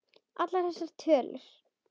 Allar þessar tölur.